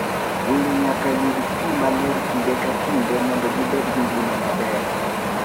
Winy nyaka yud pi maler kinde ka kinde mondo gibed gi ngima maber.